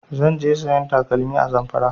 Zan je sayan takalmi a Zamfara